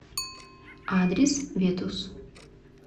адрес ветус